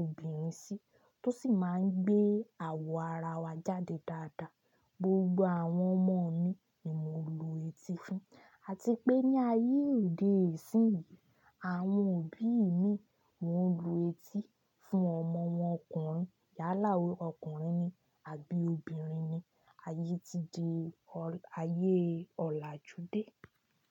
obìnrin sí, tó sì máa ń gbé àwọ̀ ara wa jáde dáadáa. Gbogbo àwọn ọmọ mi ni mo lu etí fún, àti pé ní ayé òde yìí isíyín, àwọn òbí mi wọn lu etí fún ọmọ wọn ọkùnrin yálà ó ọkùnrin ni àbí obìnrin ni. Ayé ti di ayé ọ̀làjú dé.